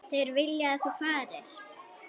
Þeir vilja að þú farir.